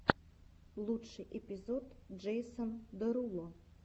лучший эпизод джейсон деруло